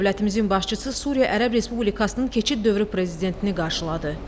Dövlətimizin başçısı Suriya Ərəb Respublikasının keçid dövrü prezidentini qarşıladı.